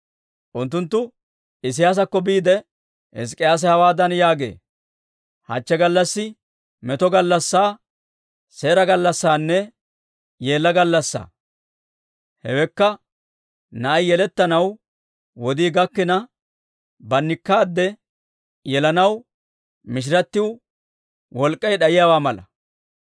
Unttunttu Isiyaasakko biide, «Hizk'k'iyaase hawaadan yaagee; ‹Hachchi gallassay meto gallassaa, seera gallassanne yeella gallassaa. Hewekka na'ai yelettanaw wodii gakkina, bannikkaade yelanaw mishiratiw wolk'k'ay d'ayiyaawaa mala.